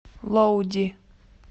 лоуди